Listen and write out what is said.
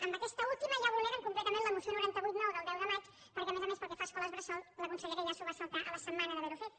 amb aquesta última ja vulneren completament la moció noranta vuit ix del deu de maig perquè a més a més pel que fa a escoles bressol la consellera ja s’ho va saltar a la setmana d’haver ho fet